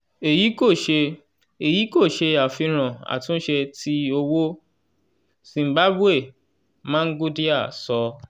eyi ko ṣe eyi ko ṣe afihan atunṣe ti owo zimbabwe mangudya sọ.